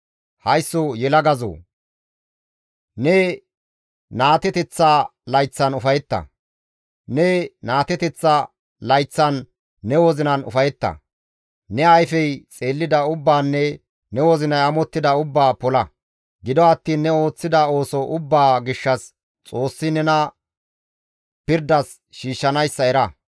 Haysso yelagazoo! Ne naateteththa layththan ufayetta; ne naateteththa layththan ne wozinan ufayetta; ne ayfey xeellida ubbaanne ne wozinay amottida ubbaa pola; gido attiin ne ooththida ooso ubbaa gishshas Xoossi nena pirdas shiishshanayssa era.